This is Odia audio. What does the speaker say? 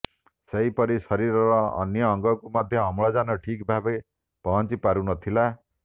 ସେହିପରି ଶରୀରର ଅନ୍ୟ ଅଙ୍ଗକୁ ମଧ୍ୟ ଅମ୍ଳଜାନ ଠିକ୍ ଭାବେ ପହଞ୍ଚି ପାରୁ ନଥିଲା